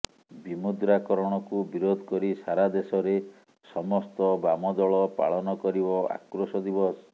ବିମୁଦ୍ରାକରଣକୁ ବିରୋଧ କରି ସାରାଦେଶରେ ସମସ୍ତ ବାମଦଳ ପାଳନ କରିବ ଆକ୍ରୋଶ ଦିବସ